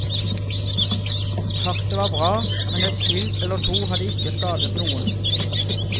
Kartet var bra, men et skilt eller to hadde ikke skadet noen.